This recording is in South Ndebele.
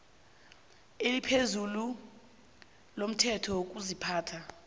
eliphezulu lomthetho wokuziphatha